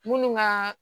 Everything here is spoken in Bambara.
Minnu ka